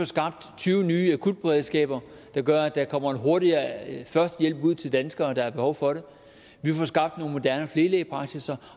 skabt tyve nye akutberedskaber der gør at der kommer hurtigere førstehjælp ud til danskere der har behov for det vi får skabt nogle moderne flerelægepraksisser